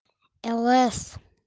лс